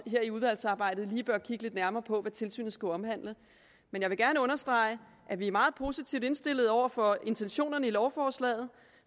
i udvalgsarbejdet også lige bør kigge lidt nærmere på hvad tilsynet skulle omhandle men jeg vil gerne understrege at vi er meget positivt indstillet over for intentionerne i lovforslaget